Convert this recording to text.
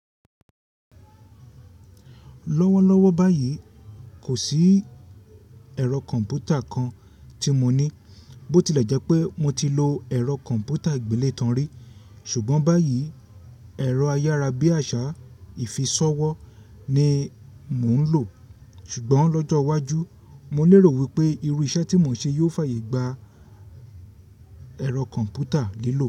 Lọ́wọ́lọ́wọ́ báyìí kò sí ẹ̀rọ kọ̀m̀pútà kan tí mo ní, bó ti lè jẹ́ pé mo ti lo ẹ̀rọ kọ̀m̀pútà ìgbẹ́létanrì, ṣùgbọ́n báyìí ẹ̀rọ ayárabíàṣá ìfisọ̀wọ́ ni mò ń lò. Ṣùgbọ́n lọ́jọ́ iwájú, mo lero wípé irú iṣẹ́ tí mò ń ṣe yóò fàyè gba ẹ̀rọ kọ̀m̀pútà lílò.